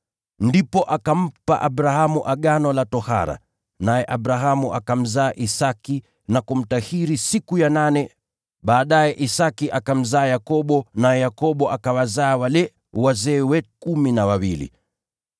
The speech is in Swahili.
Ndipo akampa Abrahamu Agano la tohara. Naye Abrahamu akamzaa Isaki na kumtahiri siku ya nane. Baadaye Isaki akamzaa Yakobo, naye Yakobo akawazaa wale wazee wetu kumi na wawili.